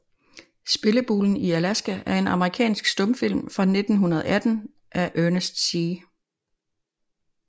Spillebulen i Alaska er en amerikansk stumfilm fra 1918 af Ernest C